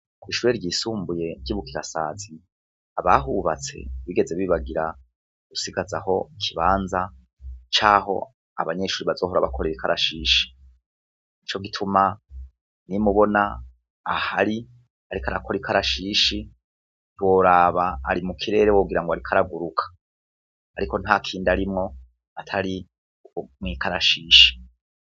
Ku'ishure ryisumbuye ndibukirasazi abahubatse bigeze bibagira gusigaza aho kibanza caho abanyeshuri bazohora abakore rikarashishi ni co gituma ni mubona ah ari arikarakor ika arashishi rworaba ari mu kirere wogira ngo arikaraguruka, ariko nta kindi arimwo atari kumwikarashisha.